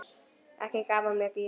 Ekki gaf hún mér gítar.